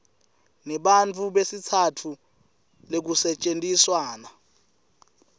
nebantfu besitsatfu lekusetjentiswana